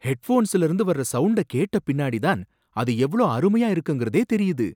ஹெட்போன்ஸ்ல இருந்து வர்ற சவுண்டை கேட்ட பின்னாடிதான் அது எவ்ளோ அருமையா இருக்குங்கறதே தெரியுது.